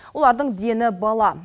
олардың дені бала